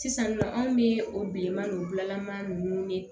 Sisan nɔ anw bɛ o bilenman gilaman ninnu ye